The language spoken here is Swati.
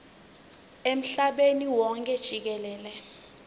emhlabeni wonkhe jikelele